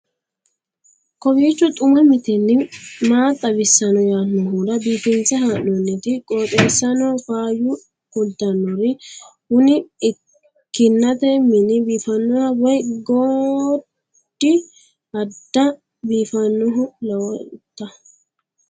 kowiicho xuma mtini maa xawissanno yaannohura biifinse haa'noonniti qooxeessano faayya kultannori kuni kinnate mini biifaannoho woy godi adda biifannoho lowonta